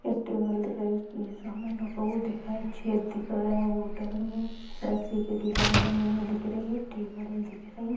एक टेबल दिख रही है उसपे ये समान रखा हुआ दिख रहा है छेद दिख रहा है बॉटल में रस्सी की डिजाइन बनी हुई दिख रही है टेबल दिख रही हैं।